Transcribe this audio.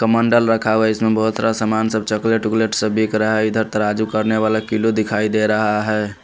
कमंडल रखा हुआ है इसमें बहुत सारा सामान सब चॉकलेट वोकलेट सब बिक रहा है इधर तराजू करने वाला किलो दिखाई दे रहा है।